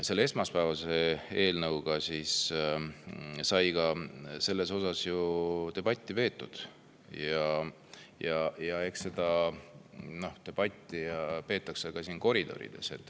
Ka esmaspäeval eelnõu puhul sai siin selle üle debatti peetud ja eks seda debatti peetakse ka siin koridorides.